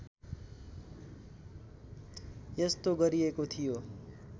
यस्तो गरिएको थियो